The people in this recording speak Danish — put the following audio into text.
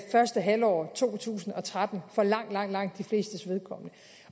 første halvår af to tusind og tretten for langt langt de flestes vedkommende